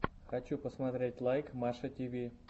хочу посмотреть лайк маша тиви